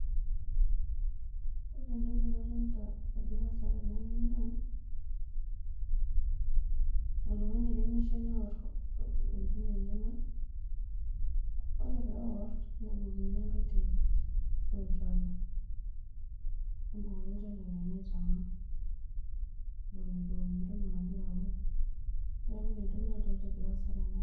Ore entoki nadolta egira aasa tenewueji naa oltung'ani oiremisho neot ntokitin enyenak ore pewot nebukoki enkae terit ,ashu olchala, nebukoki olchala lenye aitaman eton eitu eun entoki nagira aun neaku ina entoki nadolta egira aasa tene.